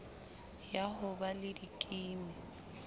ya ho ba le dikimi